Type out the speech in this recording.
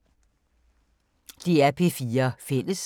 DR P4 Fælles